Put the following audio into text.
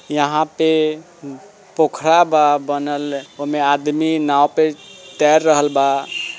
यहाँ पे पोखरा बा बनल उमे आदमी नाँव पे तैर रहल बा।